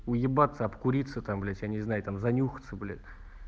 уебаться обкуриться там блять я не знаю там занюхаться блять